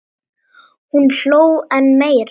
Hún hló enn meira.